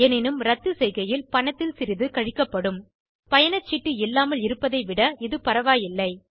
எனினும் ரத்து செய்கையில் பணத்தில் சிறிது கழிக்கப்படும் பயணச்சீட்டு இல்லாமல் இருப்பதைவிட இது பரவாயில்லை